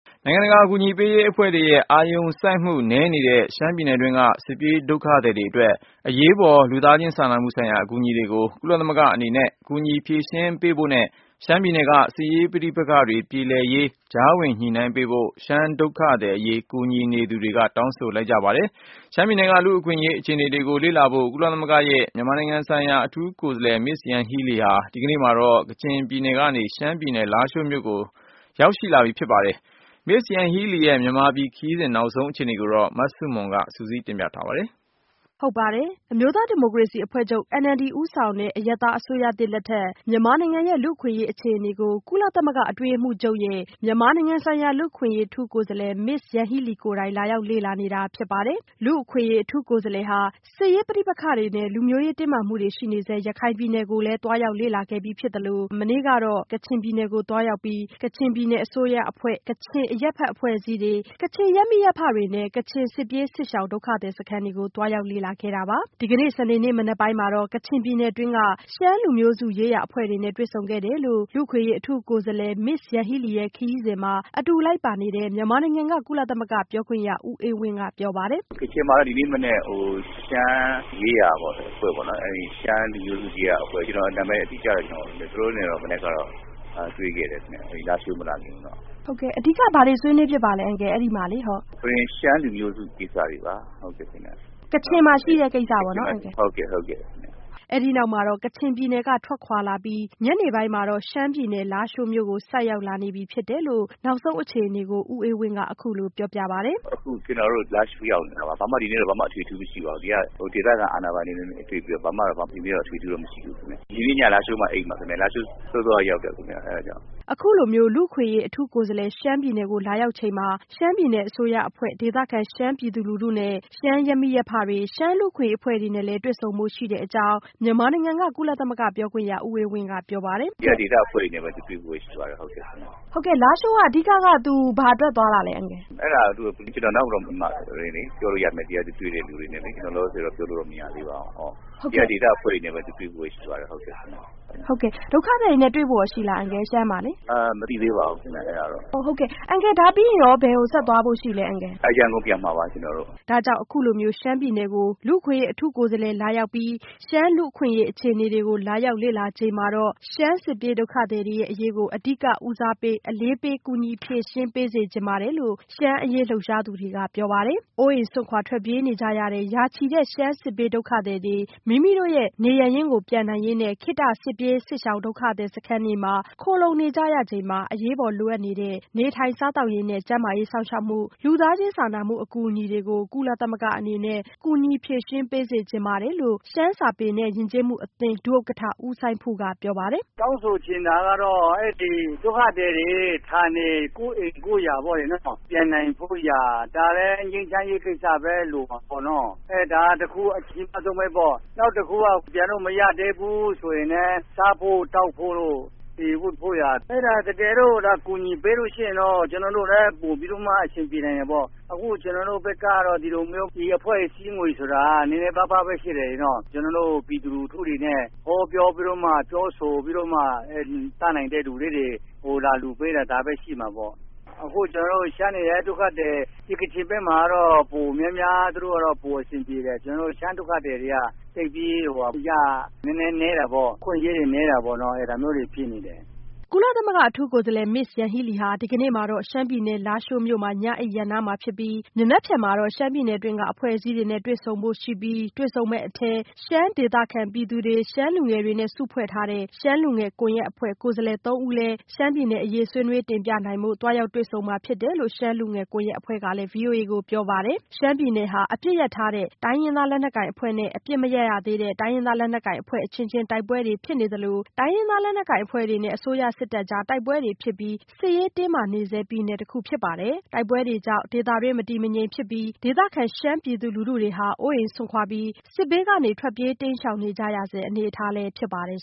နိုင်ငံတကာ အကူအညီပေးရေး အဖွဲ့တွေရဲ့ အာရုံစိုက်မှု အားနည်းနေတဲ့ ရှမ်းပြည်နယ် တွင်းက စစ်ပြေး ဒုက္ခသည်တွေ အရေးပေါ်လိုအပ်နေတဲ့ လူသားချင်း စာနာမှုဆိုင်ရာ အကူအညီတွေကို ကုလသမဂ္ဂအနေနဲ့ ကူညီ ဖြေရှင်းပေးဖို့ နဲ့ ရှမ်းပြည်နယ်တွင်းက စစ်ရေး ပဋိပက္ခတွေ ပြေလည်ရေး ကြားဝင် ညှိနှိုင်းပေးဖို့ ရှမ်း ဒုက္ခသည် အရေး ကူညီပေးနေသူတွေက တောင်းဆိုနေကြပါတယ်။ ရှမ်းပြည်က လူ့အခွင့်အရေး အခြေအနေတွေကို လေ့လာဖို့ ကုလသမဂ္ဂ ရဲ့ မြန်မာနိုင်ငံ ဆိုင်ရာ အထူး ကိုယ်စားလှယ် Ms Yanghee Lee ဟာ ဒီကနေ့ မှာတော့ ကချင်ပြည်နယ်ကနေ ရှမ်းပြည်နယ် လားရှိုးမြို့ကို ဆိုက်ရောက် လာပြီ ဖြစ်ပါတယ်။ ကုလ အထူးကိုယ်စားလှယ် Ms Yanghee Lee ရဲ့ မြန်မာပြည် ခရီးစဉ် နောက်ဆုံးရ အခြေအနေကို မဆုမွန်က စုစည်းတင်ပြပေးပါမယ်။ အမျိုးသား ဒီမိုကရေစီအဖွဲ့ချုပ် NLD ဦးဆောင်တဲ့ အရပ်သား အစိုးရသစ် လက်ထက် မြန်မာနိုင်ငံရဲ့ လူ့အခွင့်အရေး အခြေအနေကို ကုလသမဂ္ဂ အတွင်းရေးမှူးချုပ် ရဲ့ မြန်မာနိုင်ငံ ဆိုင်ရာ လူ့အခွင့်အရေး အထူး ကိုယ်စားလှယ် Ms Yanghee Lee ကိုယ်တိုင် လာရောက် လေ့လာနေတာ ဖြစ်ပါတယ်။ လူ့အခွင့်အရေး အထူး ကိုယ်စားလှယ်ဟာ စစ်ရေး ပဋိပက္ခတွေ နဲ့ လူမျိုးရေး တင်းမာမှုတွေ ရှိနေဆဲ ရခိုင် ပြည်နယ်ကိုလည်း သွားရောက် လေ့လာခဲ့ပြီးဖြစ်သလို Ms Yanghee Lee ဟာ မနေ့ကတော့ စစ်ရေး ပဋိပက္ခတွေ ရှိနေဆဲ ကချင်ပြည်နယ်ကို သွားရောက်ပြီး ကချင်ပြည်နယ် အစိုးရအဖွဲ့၊ ကချင်အရပ်ဖက် အဖွဲ့အစည်းတွေ၊ ကချင် ရပ်မိရပ်ဖတွေနဲ့ ကချင် စစ်ပြေးစစ်ရှောင် ဒုက္ခသည် စခန်းတွေကို သွားရောက် လေ့လာခဲ့တာပါ။ ဒီကနေ့ စနေနေ့ မနက်ပိုင်းမှာတော့ ကချင်ပြည်နယ်တွင်းက ရှမ်းလူမျိုးစု ရေးရာ အဖွဲ့တွေနဲ့ တွေ့ဆုံခဲ့တယ်လို့ လူ့အခွင့်အရေး အထူးကိုယ်စားလှယ် Ms Yanghee Leeရဲ့ ခရီးစဉ်မှာ အတူ လိုက်ပါနေတဲ့ မြန်မာနိုင်ငံက ကုလသမဂ္ဂ ပြောခွင့်ရ ဦးအေးဝင်းကပြောပါတယ်။ “ကချင်မှာတော့ ဒီနေ့မနက် ရှမ်း လူမျိုးစု ရေးရာ အဖွဲ့နဲ့၊ ကျွန်တော် နာမည်တော့ အတိအကျ မပြောနိုင်ဘူး။ သူတို့နဲ့တော့ မနက်က တွေ့ခဲ့တယ်။ လားရှိုးမြို့ မလာခင်မှာ။” မေး။ “အဓိက ဘာတွေ ဆွေးနွေးဖြစ်ပါသလဲ အန်ကယ်။” “ရှမ်းလူမျိုးစု ကိစ္စတွေပါ။” မေး။ “ကချင်မှာ ရှိတဲ့ ကိစ္စပေါ့နော်။” “ဟုတ်ကဲ့။ ဟုတ်ကဲ့ပါ။” အဲဒီနောက်မှာတော့ ကချင်ပြည်နယ်က ထွက်ခွာလာပြီး ညနေပိုင်းမှာတော့ ရှမ်းပြည်နယ် လားရှိုးမြို့ကို ဆိုက်ရောက် လာနေပြီ ဖြစ်တယ်လို့ နောက်ဆုံး အခြေအနေကို ဦးအေးဝင်းက အခုလိုပြောပြပါတယ်။ “ အခု ကျွန်တော်တို့ လားရှိုးရောက်နေတာပါ။ ဒီနေ့တော့ ဘာမှ အထွေအထူး မရှိပါဘူး။ ဒီက ဒေသခံ အာဏာပိုင်တွေနဲ့ တွေ့ပြီးတော့ ဒီနေ့တော့ ဘာမှ အထွေအထူး မရှိပါဘူး။ ဒီနေ့ည လားရှိုးမှာ အိပ်မှာပါ။ လားရှိုးကို စောစောက ရောက်တယ် ခင်ဗျ။ ” အခုလို လူ့အခွင့်အရေး အထူးကိုယ်စားလှယ် ရှမ်းပြည်နယ်ကို လာရောက်ချိန်မှာ ရှမ်းပြည်နယ် အစိုးရအဖွဲ့၊ ဒေသခံ ရှမ်းပြည်သူ လူထုနဲ့ ရှမ်း ရပ်မိရပ်ဖတွေ ရှမ်း လူ့အခွင့်အရေး အဖွဲ့တွေနဲ့လည်း တွေ့ဆုံဖို့ ရှိတဲ့အကြောင်း မြန်မာနိုင်ငံက ကုလသမဂ္ဂ ပြောခွင့်ရ ဦးအေးဝင်းကပြောပါတယ်။ “ဒီက ဒေသ အဖွဲ့တွေနဲ့ပဲ တွေ့ဖို့ပဲ ရှိပါတယ် ခင်ဗျ။” မေး။ “ဟုတ်ကဲ့ လားရှိုးက သူ ဘာအတွက် သွားတာလဲ အန်ကယ်။ ” ”အဲဒါက ကျွန်တော် နောက် မှ ပြောလို့ရမယ်။ သူ ဒီက တွေ့တဲ့ သူတွေနဲ့လေ။ လောလောဆယ်တော့ ပြောလို့ မရသေးပါဘူး။ ဒီက အဖွဲ့တွေနဲ့ပဲ တွေ့ဖို့ ရှိပါတယ်။ ဟုတ်ကဲ့။“ မေး။ “ဒုက္ခသည်တွေနဲ့ကော တွေ့ဖို့ ရှိပါသလား အန်ကယ်။ ရှမ်းမှာလေ။” “မသိပေးပါဘူးခင်ဗျ။ အဲဒါကတော့” မေး။ “ဒါပြီးရင်ကော ဘယ်ကို ဆက်သွားမှာလဲ အန်ကယ်။” “ရန်ကုန် ပြန်မှာပါ။ ကျွန်တော်တို့။” ဒါကြောင့် အခုလို ရှမ်းပြည်နယ်ကို လူ့အခွင့်အရေး အထူးကိုယ်စားလှယ် လာရောက်ပြီး ရှမ်း လူ့အခွင့်အရေး အခြေအနေကို လာရောက် လေ့လာချိန် မှာတော့ ရှမ်းစစ်ပြေး ဒုက္ခသည် အရေးတွေကို အဓိက အလေးပေး ကူညီ ဖြေရှင်း ပေးစေချင် ပါတယ်လို့ ရှမ်းအရေး လှုပ်ရှားသူတွေ ကပြောပါတယ်။ အိုးအိမ် စွ့န်ခွာ ထွက်ပြေးနေကြရတဲ့ ရာချီတဲ့ ရှမ်းစစ်ဘေး ဒုက္ခသည်တွေ မိမိတို့နေရပ်ရင်း ပြန်နိုင်ရေးနဲ့ ခေတ္တ စစ်ပြေးစစ်ရှောင် ဒုက္ခသည်စခန်းတွေမှာ ခိုလှုံနေကြရချိန် အရေးပေါ်လိုအပ်တဲ့ နေထိုင်စားသောက်ရေးနဲ့ ကျန်းမာရေး စောင့်ရှောက်မှုနဲ့ လူသားချင်း စာနာမှုအကူအညီတွေကို ကုလသမဂ္ဂ အနေနဲ့ ကူညီဖြေရှင်း ပေးစေချင်ပါတယ်လို့ ရှမ်း စာပေနဲ့ ယဉ်ကျေးမှုအသင်း ဒုဥက္ကဋ္ဌ ဦးစိုင်းဖုက ပြောပါတယ်။ “တောင်းဆိုချင်တာကတော့ ဒီ ဒုက္ခသည်တွေ ဌာနေ ကိုယ့်အိမ် ကိုယ့်ယာ ပြန်နိုင်ဖို့ရာ။ ဒါကလဲ ငြိမ်းချမ်းရေး ကိစ္စပဲ လိုမှာပေါ့။ ဒါက တစ်ခု အကြီးမားဆုံး ပဲပေါ့။ နောက်တစ်ခုက ပြန်လို့ မရသေးဘူး ဆိုရင်လဲ စားဖို့၊ သောက်ဖို့၊ ဝတ်ဖို့ရာ။ တကယ်လို့သာ ကူညီပေးလို့ ရှိရင်လဲ ကျွန်တော်တို့ ဘက်က ပိုပြီး အဆင်ပြေတာပေါ့။ အခု ကျွန်တော်တို့ ဘက်က ဒီ အဖွဲ့အစည်းငွေဆိုတာ နည်းနည်းပါးပါးပဲ ရှိတယ်။ ကျွန်တော်တို့ ပြည်သူ လူထု တွေနဲ့ ဟောပြောပြီးတော့မှ ပြောဆိုပြီးမှ တတ်နိုင်တဲ့ သူတွေက လာလှူပေးတာ ဒါပဲ ရှိမှာပေါ့။ အခု ကျွန်တော်တို့ ရှမ်းတွေလဲ ကချင်ဘက် ကတော့ ပိုပြီးတော့ အဆင်ပြေတယ်။ ကျွန်တော်တို့ ရှမ်းဒုက္ခသည်တွေက အခွင့်အရေးတွေ နည်းတာပေါ့နော်။ ဒါမျိုးတွေ ဖြစ်နေတယ်။ ” ကုလသမဂ္ဂ အထူးကိုယ်စားလှယ် Ms Yanghee Lee ဟာ ဒီကနေ့ မှာတော့ ရှမ်းပြည်နယ် လားရှိုးမြို့မှာ ညအိပ်ရပ်နားမှာဖြစ်ပြီး မနက်ဖြန်မှာတော့ ရှမ်းပြည်နယ် အတွင်းက အဖွဲ့အစည်းတွေနဲ့ တွေ့ဆုံဖို့ရှိပြီး တွေ့ဆုံမယ့် အထဲ ရှမ်း ဒေသခံ ပြည်သူတွေ၊ ရှမ်းလူငယ်တွေနဲ့ စုဖွဲ့ထားတဲ့ ရှမ်းလူငယ် ကွန်ရက်အဖွဲ့ ကိုယ်စားလှယ် သုံးဦးလည်း ရှမ်းပြည်နယ် အရေး ဆွေးနွေးတင်ပြနိုင်ဖို့ သွားရောက် တွေ့ဆုံမှာဖြစ်တယ်လို့ ရှမ်းလူငယ် ကွန်ရက်အဖွဲ့ကလည်း ဗွီအိုအေကို ပြောပါတယ်။ ရှမ်းပြည်နယ်ဟာ အပစ်ရပ်ထားတဲ့ တိုင်းရင်းသား လက်နက်ကိုင်အဖွဲ့နဲ့ အပစ်မရပ် ရသေးတဲ့ တိုင်းရင်းသား လက်နက်ကိုင်အဖွဲ့ အချင်းချင်း တိုက်ပွဲတွေဖြစ်နေသလို၊ တိုင်းရင်းသား လက်နက်ကိုင် အဖွဲ့တွေနဲ့ အစိုးရ စစ်တပ်ကြား တိုက်ပွဲတွေဖြစ်ပြီး စစ်ရေး တင်းမာနေတဲ့ ပြည်နယ်တခုဖြစ်ပါတယ်။ တိုက်ပွဲတွေကြောင့် ဒေသတွင်း မတည်ငြိမ်မှုတွေကြောင့် ဒေသခံရှမ်းပြည်သူ လူထုတွေဟာ အိုးအိမ်စွန့်ခွာပြီး စစ်ဘေးကနေ ထွက်ပြေး တိမ်းရှောင်နေကြရဆဲ အနေအထားဖြစ်ပါတယ်